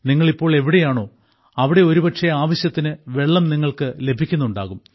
നിങ്ങൾ ഇപ്പോൾ എവിടെയാണോ അവിടെ ഒരുപക്ഷേ ആവശ്യത്തിനു വെള്ളം നിങ്ങൾക്കു ലഭിക്കുന്നുണ്ടാകും